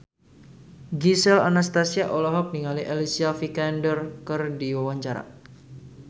Gisel Anastasia olohok ningali Alicia Vikander keur diwawancara